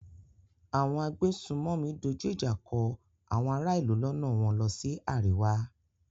Àwọn agbésùnmòmí dojú ìjà kan àwọn ará-ìlú lọ́nà wọ́n lọ sí àríwá.